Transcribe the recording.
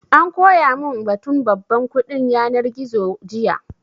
An koya mun batun babban kuɗin yanar gizo jiya